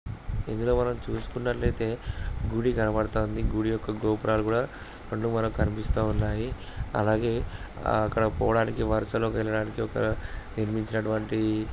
ఇందులో మనం చూసుకున్నట్టయితే గుడి కనబడుతుంది. గుడి యొక్క గోపురాలు కూడా రెండు మనకు కనిపిస్తూ ఉన్నాయి అలాగే అక్కడికి పోవడానికి వరసలోకి వెళ్ళడానికి ఒక నిర్మించినటువంటి --